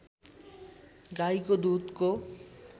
गाईको दुधको